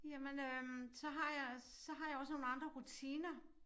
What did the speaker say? Jamen øh så har jeg så har jeg også nogle andre rutiner